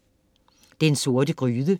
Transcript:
Den Sorte Gryde